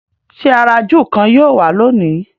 ṣe àrà júù kán yíò wá lóni?